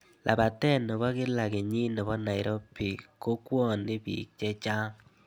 Labetee ne bo kila kenyii ne bo Nairobi kokwonii biik che chang.